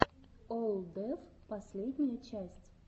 олл деф последняя часть